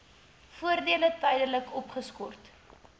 voordele tydelik opgeskort